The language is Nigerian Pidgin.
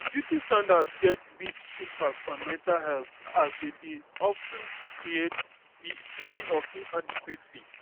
beauty standard get big impact on mental helth as dem dey of ten create di feelings of inadequency.